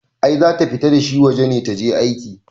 I zata fita dashi waje ne taje aika